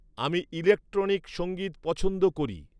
আমি ইলেকট্রনিক সঙ্গীত পছন্দ করি